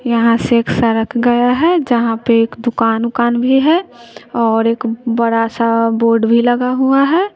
यहां से एक सरक गया है जहां पे एक दुकान उकान भी है और एक बड़ा सा बोर्ड भी लगा हुआ है।